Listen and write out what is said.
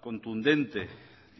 contundente